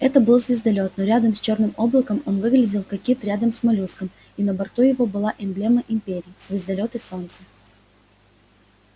это был звездолёт но рядом с чёрным облаком он выглядел как кит рядом с моллюском и на борту его была эмблема империи звездолёт и солнце